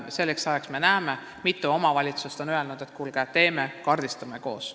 Selleks ajaks on näha, mitu omavalitsust on öelnud, et kuulge, teeme ja kaardistame koos.